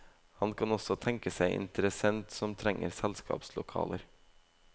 Han kan også tenke seg en interessent som trenger selskapslokaler.